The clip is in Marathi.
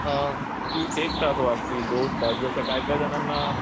तू एक तास वाचशील दोन तास जसं काहीकाही जणांना